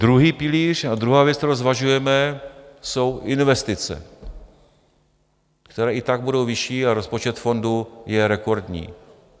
Druhý pilíř a druhá věc, kterou zvažujeme, jsou investice, které i tak budou vyšší, a rozpočet fondu je rekordní.